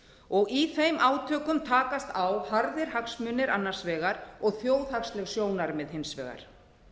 og í þeim átökum takast á harðir hagsmunir annars vegar og þjóðhagsleg sjónarmið hins vegar